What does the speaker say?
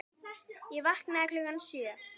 Ég vaknaði klukkan sjö.